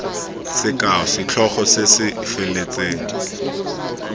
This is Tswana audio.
sekao setlhogo se se feletseng